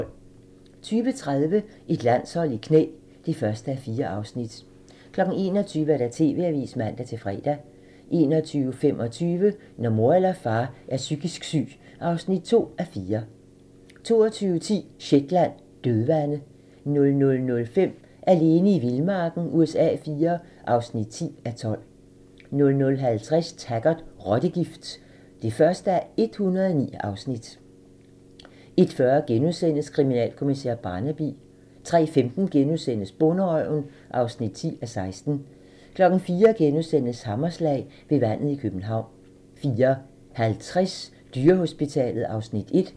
20:30: Et landshold i knæ (1:4) 21:00: TV-avisen (man-fre) 21:25: Når mor eller far er psykisk syg (2:4) 22:10: Shetland: Dødvande 00:05: Alene i vildmarken USA IV (10:12) 00:50: Taggart: Rottegift (1:109) 01:40: Kriminalkommissær Barnaby * 03:15: Bonderøven (10:16)* 04:00: Hammerslag - ved vandet i København * 04:50: Dyrehospitalet (Afs. 1)